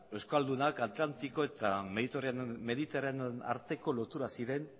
euskaldunak atlantiko eta mediterraneo arteko lotura ziren